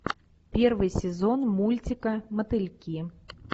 первый сезон мультика мотыльки